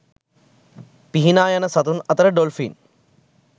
පිහිනා යන සතුන් අතර ඩොල්ෆින්